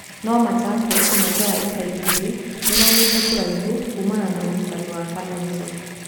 No Machakos miaka ya ica ikuhĩ nimaumĩte kuraihu kumana na ũrutani wa Kalonzo.